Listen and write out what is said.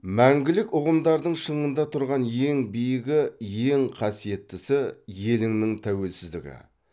мәңгілік ұғымдардың шыңында тұрған ең биігі ең қасиеттісі еліңнің тәуелсіздігі